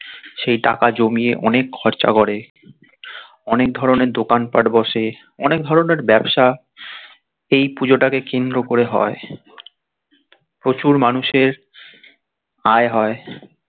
সেই টাকা জমিয়ে অনেক খরচা করে অনেক ধরণের দোকান পাট বসে অনেক ধরণের ব্যবসা এই পুজোটাকে কেন্দ্র করে হয় প্রচুর মানুষের আয় হয়